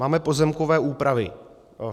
Máme pozemkové úpravy.